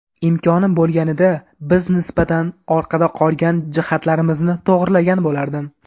Imkonim bo‘lganida, biz nisbatan orqada qolgan jihatlarimizni to‘g‘rilagan bo‘lardim.